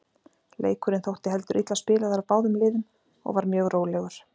Leikurinn þótti heldur illa spilaður af báðum liðum og var mjög rólegur.